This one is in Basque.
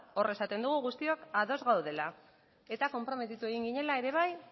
hor esaten dugu guztiok ados gaudela eta konprometitu egin ginela ere bai